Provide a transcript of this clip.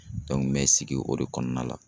me sigi o de kɔnɔna la